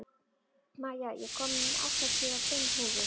Maja, ég kom með áttatíu og fimm húfur!